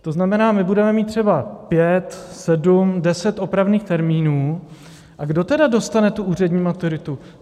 To znamená, my budeme mít třeba pět, sedm, deset opravných termínů, a kdo tedy dostane tu úřední maturitu?